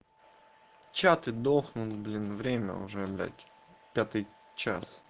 чаты дохнул блин время уже блять пятый час